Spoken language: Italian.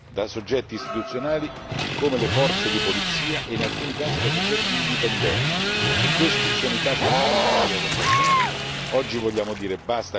La tortura è praticata da soggetti istituzionali come le forze di polizia e in alcuni casi da soggetti indipendenti e questi sono i casi più difficili da contrastare.